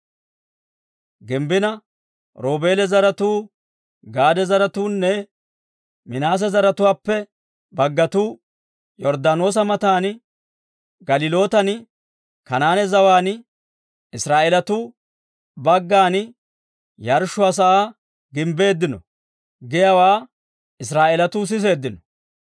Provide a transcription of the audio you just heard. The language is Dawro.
gimbbina, «Roobeela zaratuu, Gaade zaratuunne Minaase zaratuwaappe baggatuu Yorddaanoosa matan, Galilootan, Kanaane zawaan, Israa'eelatuu baggana yarshshuwaa sa'aa gimbbeeddino» giyaawaa Israa'eelatuu siseeddino.